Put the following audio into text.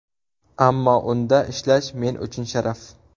Ammo unda ishlash men uchun sharaf.